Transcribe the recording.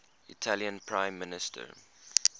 italian prime minister